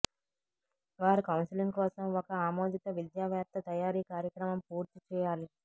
వారు కౌన్సిలింగ్ కోసం ఒక ఆమోదిత విద్యావేత్త తయారీ కార్యక్రమం పూర్తి చేయాలి